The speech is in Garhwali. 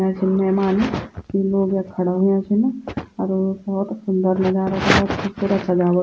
मेहमान कि लोग यख खड़ा हुया छिन अर भौत सुन्दर नजारा च खुबसूरत सजावट।